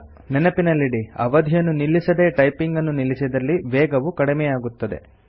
ನೆನಪಿನಲ್ಲಿಡಿ ಅವಧಿಯನ್ನು ನಿಲ್ಲಿಸದೇ ಟೈಪಿಂಗನ್ನು ನಿಲ್ಲಿಸಿದಲ್ಲಿ ವೇಗವು ಕಡಿಮೆಯಾಗುತ್ತದೆ